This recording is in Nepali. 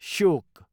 श्योक